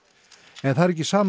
en það er ekki sama